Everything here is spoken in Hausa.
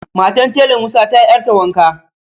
Matar Tela musa ta yi ƴarta wanka